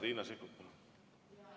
Riina Sikkut, palun!